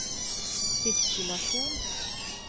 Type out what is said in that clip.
sirkulasjon